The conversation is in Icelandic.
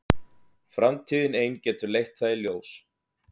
Framtíðin ein getur leitt það í ljós.